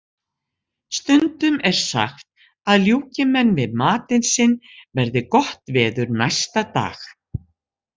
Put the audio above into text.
Stundum er sagt að ljúki menn við matinn sinn verði gott veður næsta dag.